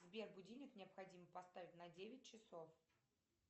сбер будильник необходимо поставить на девять часов